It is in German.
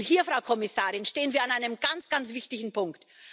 Und hier, Frau Kommissarin, stehen wir an einem ganz, ganz wichtigen Punkt.